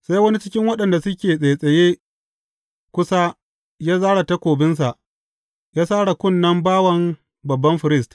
Sai wani cikin waɗanda suke tsattsaye kusa ya zāre takobinsa, ya sare kunnen bawan babban firist.